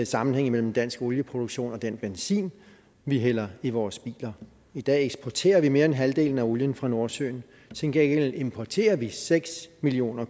sammenhæng imellem dansk olieproduktion og den benzin vi hælder i alle vores biler i dag eksporterer vi mere end halvdelen af olien fra nordsøen til gengæld importerer vi seks million